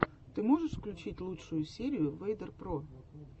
ты можешь включить лучшую серию вэйдер про